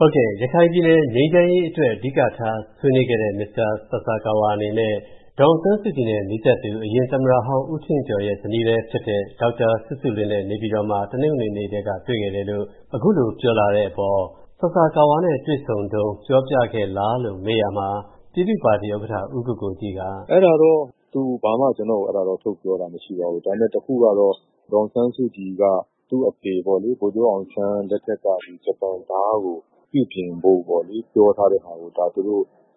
ဟုတ်ကဲ့ရခိုင်ပြည်နယ်ငြိမ်းချမ်းရေးအတွက် အဓိကဆွေးနွေးခဲ့တဲ့ မစ္စတာဆာဆာကာဝါ အနေနဲ့ ဒေါ်အောင်ဆန်းစုကြည်နဲ့နီးစပ်သူ အရင်သမတဟောင်း ဦးထင်ကျော်ရဲ့ဇနီးလည်းဖြစ်တဲ့ ဒေါ်စုစုလွင့်နဲ့ နေပြည်တော်မှာ တနင်္ဂနွေနေ့ကတည်းကတွေ့ခဲ့တယ်လို့ အခုလိုပြောလာတဲ့အပေါ် ပြည်သူ့ပါတီဥက္ကဌ ဦးကိုကိုကြီးက၊ ဦးကိုကိုကြီး။ ။သူအဲဒါတော့သူ ဘာမှကျနော့ကို၊ အဲဒါတော့ထုတ်ပြောတာမရှိပါဘူး၊ ဒါပေမယ့်တခုကတော့ ဒေါ်အောင်ဆန်းစုကြည်က၊ သူ့အဖေဗိုလ်ချုပ်အောင်ဆန်း လက်ထက်ကဂျပန်ဒါးကိုပြုပြင်ဖို့ပေါ့လေပြော ထားတဲ့ဟာကို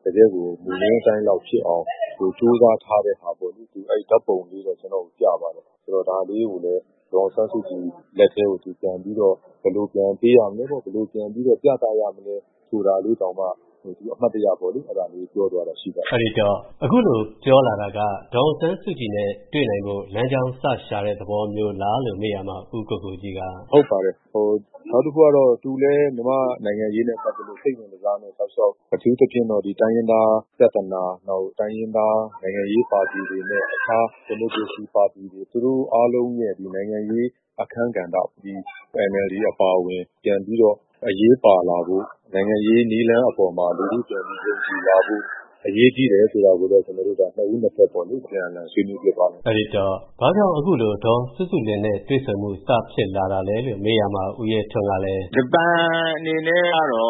ကတယ်ကိုမူရင်းအတိုင်းလောက်ဖြစ်အောင်ကျိုးစားထားတဲ့ ဟာပေါ့လေ သူအဲဒါဓာတ်ပုံလေး တော့ပြပါတယ်။ ဆိုတော့ဒါလေးကိုလည်း ဒေါ်အောင်ဆန်းစုကြည်လက်ထဲကိုပြန်ပြီးတော့ ပြန်ပေးရမလဲပေါ့၊ ဘယ်လိုပြန်ပြီးပြသရမလဲဆိုဒါလေးတောင်မှ သူအမှတ်တယပြောသွားတာရှိတယ်။ ကိုဝင်းမင်း။ ။ အဲဒိတော့ အခုလိုပြောလာတာက ဒေါ်အောင်ဆန်းစုကြည်နဲ့တွေ့နိုင်ဖို့လမ်းကြောင်းစရှာတဲ့ သဘောမျိုးလားလို့မေးရာမှာ ဦးကိုကိုကြီးက၊ ဦးကိုကိုကြီး။ ။ ဟုတ်ပါတယ်၊ ဟိုနောက်တခုကသူလည်းမြန်မာ့နိုင်ငံရေးနဲ့ပတ်သက်လို့ စိတ်ဝင်တစားနဲ့ တောက်လျောက် အထူးသဖြင့်တော့ဒီတိုင်းရင်းသားပြဿနာ နောက်တိုင်းရင်းသားနိုင်ငံရေးပါတီ တွေနဲ့အခြား ဒီမိုကရေစီပါတီတွေ သူတို့အားလုံးရဲ့ဒီနိုင်ငံရေးအခန်းကဏ္ဍ၊ ဒီ NLD အပါအဝင်ပြန်ပြီးတော့အရေးပါလာဖို့၊ နိုင်ငံရေးနည်းလမ်းအပေါ်မှာ လူထုပြန်လည်ယုံကြည်လာဖို့ အရေးကြီးတယ်ဆိုတာကိုတော့ ကျနော်တို့ နှစ်ဦးနှစ်ဖက်ပေါ့လေ အပြန်အလှန်ဆွေးနွေးဖြစ်သွားတယ်၊ ကိုဝင်းမင်း။ ။အဲဒိတော့ဘာကြောင့်အခုလို ဒေါ်စုစုလွင့်နဲ့တွေ့ဆုံမှု ဖြစ်လာတာလဲလို့မေးရာမှာ ဦးရဲထွန်း ကလည်း။ ဦးရဲထွန်း။ ။ ဂျပန်အနေနဲ့ကတော့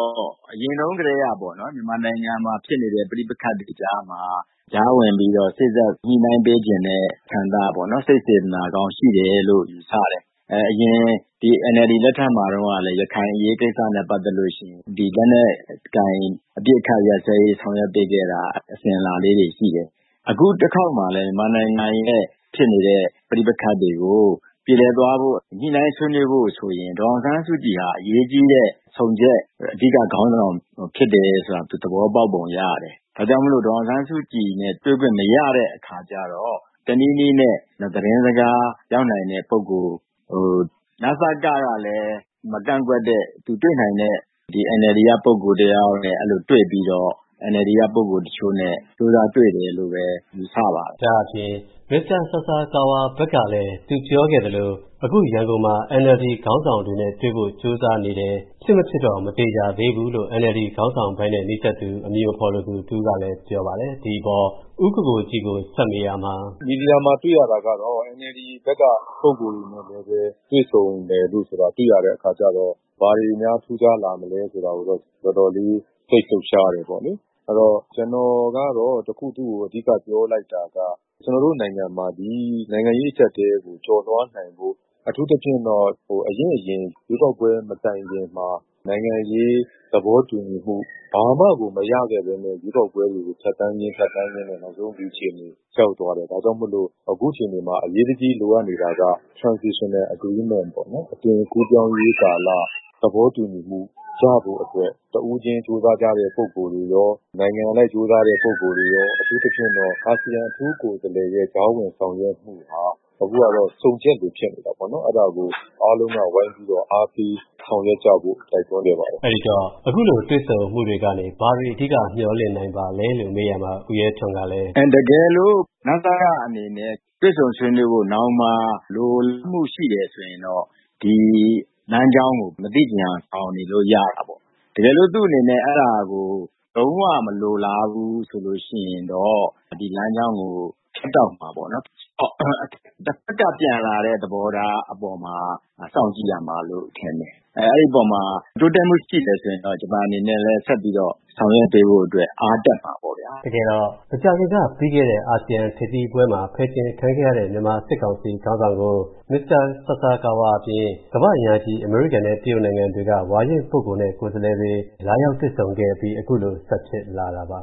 အရင်တုန်းကတည်းကပေါ့နော်မြန်မာနိုင်ငံမှာ ဖြစ်နေတဲ့ပဌိပက္ခတွေ ကြားမှာ၊ ကြားဝင်ပြီးတော့ စေ့စပ်ညှိနိုင်းပေးချင်တဲ့ဆန္ဒပေါ့နော် စိတ်စေတနာကောင်းရှိတယ်လို့ယူဆတယ်။ အဲအရင်ဒီ NLD လက်ထက်မှာ တုန်းကလည်းရခိုင်အရေးကိစ္စနဲ့ပတ်သက်လို့ရှိရင် ဒီလက်နှက်ကိုအပြစ်အခတ် ရပ်ဆဲရေးဆောင်ရွက်ပေးခဲ့တာ အစဉ်အလာလေးတွေရှိတယ်၊ အခုတခေါက်မှာလည်း မြန်မာနိုင်ငံရဲ့ဖြစ်နေတဲ့ ပဌိပက္ခတွေကို ပြေလည်သွားဖို့ညှိနိုင်းဆွေးနွေးဖို့ဆိုရင်ဒေါ်အောင်ဆန်းစုကြည်ဟာ အရေးကြီးတဲ့ဆုံချက် အဓိကခေါင်းဆောင်ဖြစ်တယ်လိုတာ သူသဘောပေါက်ပုံရတယ်။ ဒါကြောင့်မို့လို့ဒေါ်အောင်ဆန်းစုကြည်နဲ့ တွေ့ခွင့်မရတဲ့အခါကျတော့ တနည်းနည်းနဲ့သတင်းစကားရောက်နိုင်တဲ့ ပုဂ္ဂိုလ်ဟို၊ နစက ကလည်းမကန့်ကွက် တဲ့သူနဲ့ တွေ့နိုင်တဲ့ဒီ NLD ကပုဂ္ဂိုလ်တယောက်ယောက်နဲ့တွေ့ပြီးတော့၊ NLD ကပုဂ္ဂိုလ်တချိုနဲ့ကျိုးစားတွေ့တယ် လို့ဘဲထင်ပါတယ်။ ကိုဝင်းမင်း။ ။ဒါ့အပြင် မစ္စတာဆာဆာကာဝါ ဘက်ကလည်းသူပြောခဲ့သလို အခုရန်ကုန်မှာ NLD ခေါင်း ဆောင်တွေနဲ့တွေ့ဖို့ကျိုုးစားနေတယ်။ ဖြစ်မဖြစ်တော့မသေခြာသေဘူးလို့ NLD ခေါင်းဆောင်အဖွဲ့နဲ့နီးစပ် သူအမည်အမဖေါ်လိုသူတဦးကလည်းပြောပါတယ်။ ဒီအပေါ်ဦးကိုကိုကြီးကိုဆက်ပြီးမေးရာမှာ။ ဦးကိုကိုကြီး။ ။ မီဒီယာမှာတွေ့တာကတော့ NLD ဘက်ကပုဂ္ဂိုလ်တွေနဲ့လည်းတွေ့ဆုံမယ်လို့တာတွေ့တဲ့ အခါကျတော့ ဘာတွေများထူးခြားလာမလဲဆိုတာကိုတော့တော်တော်လေး၊ စိတ်လှုပ်ရှားတယ်ပေါ့လေ၊ အဲဒါတော့ ကျနော်ကတော့ တခုသူ့ကို အဓိက ပြောလိုက်တာက ကျနော်တို့နိုင်ငံ မှာဒီနိုင်ငံရေးအကြပ်အတည်း ကိုကျော်လွှားနိုင်ဖို့ အထူးသဖြင့်တော့ဟို အရင့်အရင်ရွေးကောက်ပွဲမတိုင်ခင် မှာနိုင်ငံရေးသဘော တူညီမှုဘာမှ မရဘဲနဲ့ကို ရွေးကောက်ပွဲတွေကို ဖြတ်သန်းရင်းဖြတ်သန်းရင်းနဲ့နောက်ဆုံးဒီအခြေအနေရောက်သွား တယ်ဒါကြောင့်မို့လို့ အခုခြေအနေမှာအရေးတကြီးလိုအပ်နေတာက transitional agreementအသွင်ကူးပြောင်းရေး သဘောတူညီမှုရဖို့အတွက်တဦးခြင်း ကျိုစားကြတဲ့ပုဂ္ဂိုလ်တွေရော နိုင်ငံအလိုက်ကျိုးစား ကြတဲ့ပုဂ္ဂိုလ်တွေရော အထူးသဖြင့်တော့အာစီယံအထူးကိုယ်စားလှယ်ရဲ့ကြားဝင်ဆောင်ရွက်မှုဟာ အခုကတော့ ဆုံချက်လိုဖြစ်နေတာပေါ့နော် အဲဒါကိုအားလုံးကဝိုင်းပြီးတော့ အားပေးဆောင်ရွက်ကြဖို့ တိုက်တွန်းခဲ့ပါတယ်။ ကိုဝင်းမင်း။ ။ အဲဒိတော့ အခုလိုတွေ့ဆုံမှုတွေကနေဘာတွေ ဘာတွေအဓိကမျှော်လင့်နိုင်ပါသလဲလို့ မေးရာမှာဦးရဲထွန်းကလည်း။ ဦးရဲထွန်း။ ။အင်းတကယ်လို့ နစက အနေနဲ့တွေ့ဆုံဆွေးနွေးဖို့နောင်မှာ လိုလားမှုရှိတယ်ဆိုရင်တော့ နောင်မှာ ဒီလမ်းကြောင်းကို မသချင်ယောင်ဆောင်နေလို့ရတာပေါ့ ကယ်လို့သူ့အနေနဲ့ အဲဒါကို လုံးဝမလိုလားဘူး ဆိုလို့ရှိရင်တော့ ဒီလမ်းကြောင်းကို ဖြတ်တောက်မှာပေါ့နော်။ တဘက်ကပြန်လာတဲ့ သဘောထားအပေါ်မှာစောင့်ကြည်ရမှာ လို့ထင်တယ်။ အဲဒိအပေါ်မှာ တိုးတက်မှုရှိတယ်ဆိုလို့ရှိရင်တော့ ဂျပန်အနေနဲ့လည်း ဆက်ပြီးတော့ဆောင်ရွက်ပေးဖို့အတွက် အားတက်မှာပေါဗျာ။ ကိုဝင်းမင်း။ ။တကယ်တော့ အာစီယံထိပ်သီးပွဲမှာဖယ်ကျဉ်ခံခဲ့ရတဲ့ မြန်မာစစ်ကောင်စီ ခေါင်းဆောင်ကို မစတာဆာဆာကာဝါအအပြင် ကမ္ဘာ့အင်အားကြီး အမေရိကန်နဲ့တရုတ်နိုင်ငံတွေက ဝါရင့်ပုဂ္ဂိုလ်နဲ့ကိုယ် စားလှယ်တွေလာရောက်တွေဆုံခဲ့ပြီးအခုလိုဆက်ဖြစ်လာတာပါ